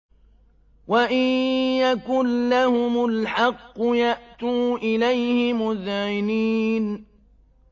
وَإِن يَكُن لَّهُمُ الْحَقُّ يَأْتُوا إِلَيْهِ مُذْعِنِينَ